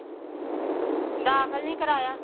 ਦਾਖਲ ਨੀਂ ਕਰਾਇਆ।